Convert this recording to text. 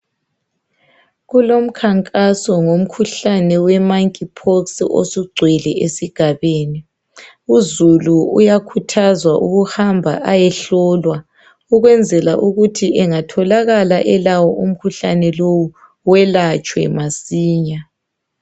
Kulomkhankaso ngomkhuhlane we monkey pox osugcwele esigabeni , uzulu uyakhuthazwa ukuhamba ayehlolwa ukwenzela ukuthi engatholakala elawo umkhuhlane lowu welatshwe masinya